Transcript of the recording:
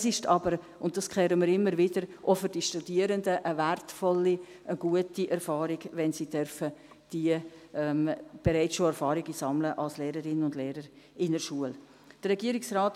Es ist aber – und das hören wir immer wieder – auch für die Studierende eine wertvolle und gute Erfahrung, wenn sie bereits Erfahrungen als Lehrerinnen und Lehrer in der Schule sammeln dürfen.